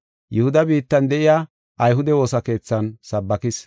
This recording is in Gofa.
Yihuda biittan de7iya ayhude woosa keethan sabbakis.